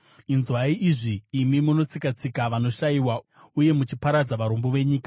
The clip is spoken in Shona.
Inzwai izvi imi munotsika-tsika vanoshayiwa uye muchiparadza varombo venyika,